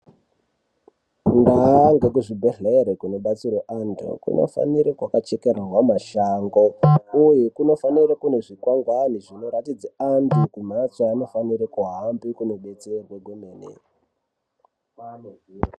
Ndau dzekuzvibhedhleya kunobatsirwa vantu kunofanira kugara kwakachekererwa mashango uye kunofanira kunge kune zvikwangwani zvinoratidza antu kumhatso kwaanofanira kudetserwa kwemene.